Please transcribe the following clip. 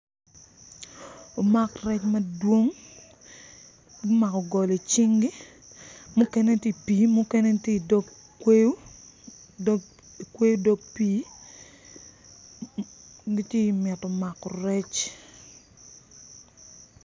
Omak rec madwong gumako goli i cingi mukene gitye i pii mukene gitye i dog kweyo i kweyo dog pii gitye i mito mako rec.